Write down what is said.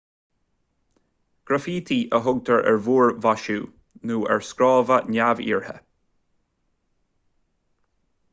graifítí a thugtar ar mhúrmhaisiú nó ar scrábadh neamhiarrtha